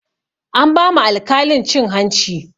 An ba ma alkalin cin hanci